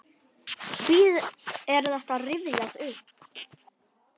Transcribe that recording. Hví er þetta rifjað upp?